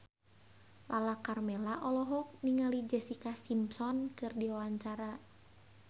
Lala Karmela olohok ningali Jessica Simpson keur diwawancara